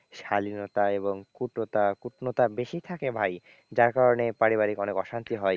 শালীনতা এবং কুটতা কুটনতা বেশি থাকে ভাই যার কারণে পারিবারিক অনেক অশান্তি হয়।